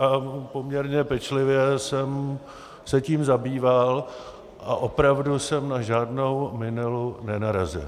A poměrně pečlivě jsem se tím zabýval a opravdu jsem na žádnou minelu nenarazil.